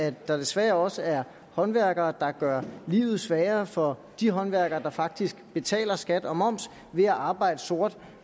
at der desværre også er håndværkere der gør livet sværere for de håndværkere der faktisk betaler skat og moms ved at arbejde sort